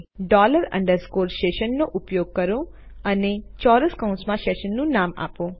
dollar underscore session નો ઉપયોગ કરો અને ચોરસ કૌંસ માં સેશનનું નામ આપો